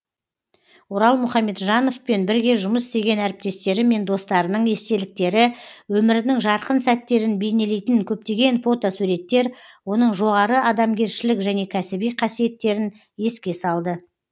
орал мұхамеджановпен бірге жұмыс істеген әріптестері мен достарының естеліктері өмірінің жарқын сәттерін бейнелейтін көптеген фотосуреттер оның жоғары адамгершілік және кәсіби қасиеттерін еске салды